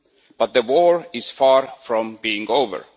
But the war is far from being over.